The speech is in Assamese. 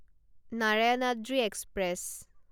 নাৰায়ণাদ্ৰি এক্সপ্ৰেছ